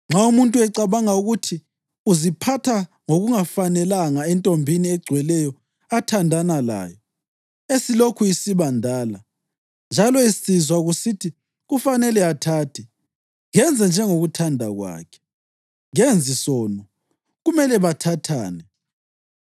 Nxa umuntu ecabanga ukuthi uziphatha ngokungafanelanga entombini egcweleyo athandana layo, esilokhu isiba ndala, njalo esizwa kusithi kufanele athathe, kenze njengokuthanda kwakhe. Kenzi sono. Kumele bathathane.